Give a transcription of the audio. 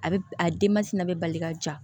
A bɛ a denmansin na bɛ bali ka ja